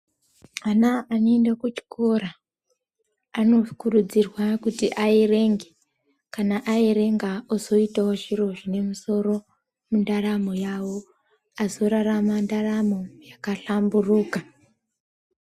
Ana anoenda kuchikora anokurudzirwa kuti aerenge kana aerenga ozoito zviro zvine musoro mundaramo yawo azorarama ndaramo yakahlamburuka .